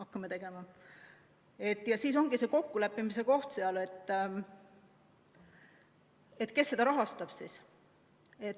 Ja nüüd ongi kokkuleppimise koht, kes seda kõike rahastab.